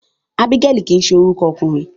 Ábígẹ́lì kìí ṣe orúkọ ọmọkùnrin.